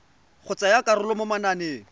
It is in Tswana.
go tsaya karolo mo mananeng